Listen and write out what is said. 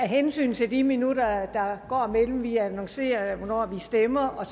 hensyn til de minutter der går mellem vi annoncerer hvornår vi stemmer og